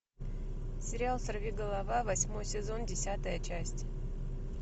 сериал сорви голова восьмой сезон десятая часть